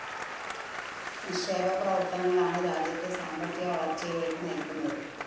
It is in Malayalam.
നിക്ഷേപ പ്രവര്‍ത്തനങ്ങളാണ് രാജ്യത്തെ സാമ്പത്തിക വളര്‍ച്ചയിലേക്ക് നയിക്കുന്നത്